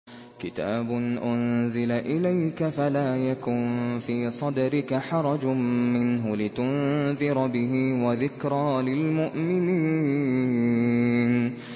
كِتَابٌ أُنزِلَ إِلَيْكَ فَلَا يَكُن فِي صَدْرِكَ حَرَجٌ مِّنْهُ لِتُنذِرَ بِهِ وَذِكْرَىٰ لِلْمُؤْمِنِينَ